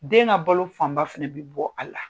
Den ka balo fanba fɛnɛ bɛ bɔ a la.